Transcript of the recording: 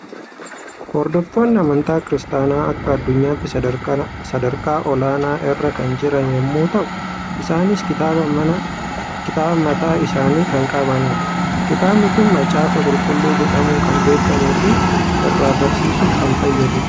Hordoftoonni amantaa kiristaanaa akka addunyaatti sadarkaa olaanaa irra kan jiran yommuu ta'u, isaanis kitaaba mataa isaanii kan qabanidha. Kitaabni kun macaafa Qulqulluu jedhamuun kan beekamuu fi irraa barsiisuuf kan fayyadudha.